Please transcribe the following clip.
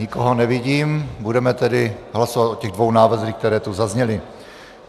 Nikoho nevidím, budeme tedy hlasovat o těch dvou návrzích, které tu zazněly.